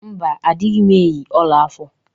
Mba, adịghị m eyi ọla afọ.